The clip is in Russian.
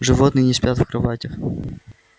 животные не спят в кроватях